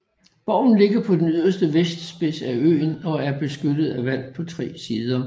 Borgen ligger på den yderste vestspids af øen og er beskyttet af vand på tre sider